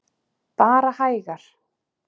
Bara hægar.